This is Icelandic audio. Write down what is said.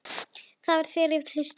Það var þegar við send